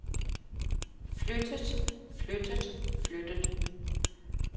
flyttet flyttet flyttet